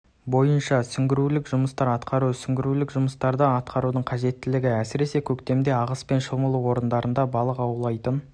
бойынша сүңгуірлік жұмыстар атқару сүңгуірлік жұмыстарды атқарудың қажетттілігі әсіресе көктемде ағыспен шомылу орындарына балық аулайтын